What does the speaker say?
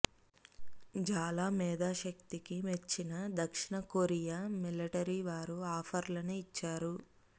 జాలా మేథోశక్తికి మెచ్చిన దక్షిణ కొరియా మిలటరీ వారు ఆఫర్లను ఇచ్చారు